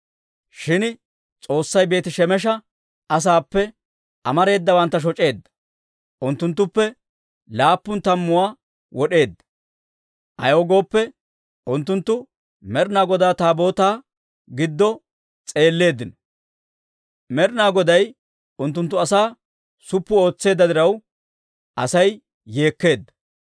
Shin S'oossay Beeti-Shemesha asaappe amareedawantta shoc'eedda; unttunttuppe laappun tammuwaa wod'eedda; ayaw gooppe, unttunttu Med'inaa Godaa Taabootaa giddo s'eelleeddino. Med'inaa Goday unttunttu asaa suppu ootseedda diraw, Asay yeekkeedda.